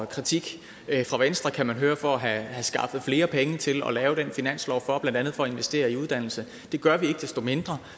kritik fra venstre kan man høre for at have skaffet flere penge til at lave den finanslov blandt andet for at investere i uddannelse det gør vi ikke desto mindre